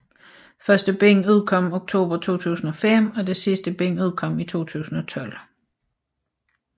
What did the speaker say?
Første bind udkom oktober 2005 og det sidste bind udkom i 2012